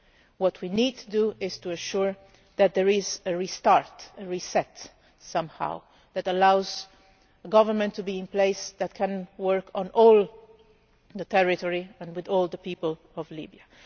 What we need to do is ensure that there is a restart, a reset somehow, that allows a government to be in place that can work in all the territory and with all the people of Libya.